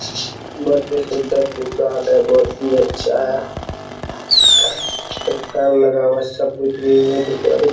बहुत ही सुन्दर दुकान है बहुत ही अच्छा है | एक फल लगा हुआ सब कुछ --